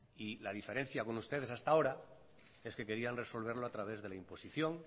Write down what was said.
y la diferencia con ustedes hasta ahora es que querían resolverlo a través de la imposición